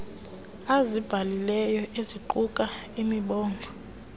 azibhalileyo eziquka imibongo